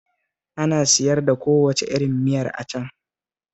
Ana siyar da kowace irin miya a can